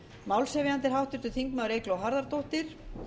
málshefjandi er háttvirtur þingmaður eygló harðardóttir